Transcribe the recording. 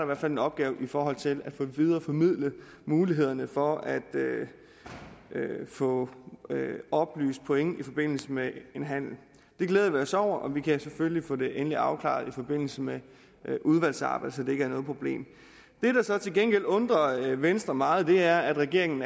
hvert fald en opgave i forhold til at videreformidle mulighederne for at få oplyst point i forbindelse med en handel det glæder vi os over og vi kan selvfølgelig få det endeligt afklaret i forbindelse med udvalgsarbejdet så det ikke er noget problem det der så til gengæld undrer venstre meget er at regeringen